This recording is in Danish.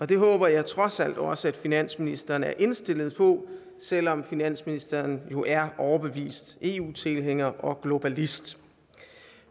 det håber jeg trods alt også at finansministeren er indstillet på selv om finansministeren jo er overbevist eu tilhænger og globalist